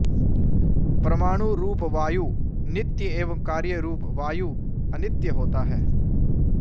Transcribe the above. परमाणु रूप वायु नित्य एवं कार्य रूप वायु अनित्य होता है